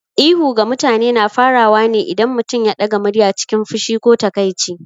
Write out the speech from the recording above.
Ihu ga mutane na faruwa ne idan mutum ya ɗaga murya cikin fushi ko takaici.